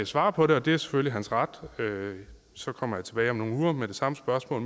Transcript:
svare på det og det er selvfølgelig hans ret så kommer jeg tilbage om nogle uger med det samme spørgsmål